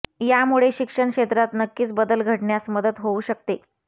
यामुळे शिक्षण क्षेत्रात नक्कीच बदल घडण्यास मदत होऊ शकते